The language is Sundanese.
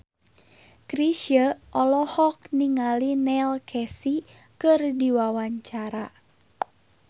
Chrisye olohok ningali Neil Casey keur diwawancara